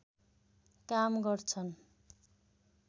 काम गर्छन्